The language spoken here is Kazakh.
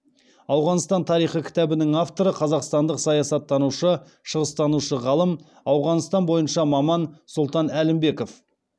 ауғанстан тарихы кітабының авторы қазақстандық саясаттанушы шығыстанушы ғалым ауғанстан бойынша маман сұлтан әлімбеков